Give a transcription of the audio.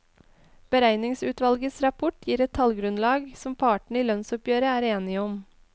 Beregningsutvalgets rapport gir et tallgrunnlag som partene i lønnsoppgjøret er enige om.